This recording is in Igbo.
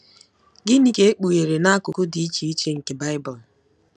Gịnị ka e kpughere n’akụkụ dị iche iche nke Bible?